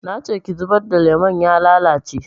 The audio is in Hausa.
Nace ki zubar da lemon ya lalace